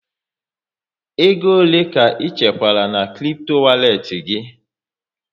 Ego ole ka ị chekwara na kripto walet gị?